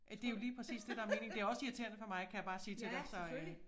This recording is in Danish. Ja det jo lige præcis det der meningen det også irriterende for mig kan jeg bare sige til dig så øh